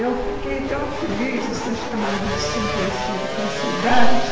Eu fiquei tão feliz de ser chamada de subversiva com essa idade.